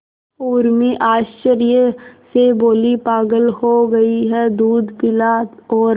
उर्मी आश्चर्य से बोली पागल हो गई है दूध पिला और